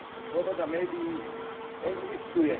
Sloboda médií existuje.